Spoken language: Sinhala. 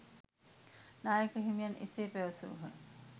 නායක හිමියන් එසේ පැවසූහ